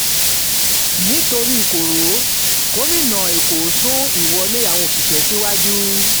nítorí koro gómìnà èkó sún sún ìwọlé àwọn òṣìṣẹ́ síwájú